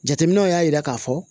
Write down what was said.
Jateminɛw y'a jira k'a fɔ